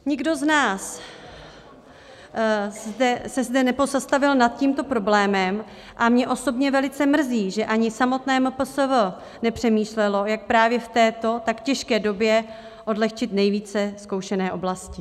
Nikdo z nás se zde nepozastavil nad tímto problémem a mě osobně velice mrzí, že ani samotné MPSV nepřemýšlelo, jak právě v této tak těžké době odlehčit nejvíce zkoušené oblasti.